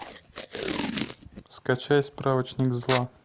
скачай справочник зла